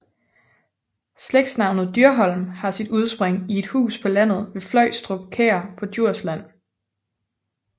Slægtsnavnet Dyrholm har sit udspring i et hus på landet ved Fløjstrup Kær på Djursland